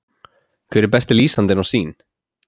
Hver er besti lýsandinn á Sýn?